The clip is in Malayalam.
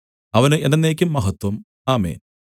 അവന് എന്നെന്നേക്കും മഹത്വം ആമേൻ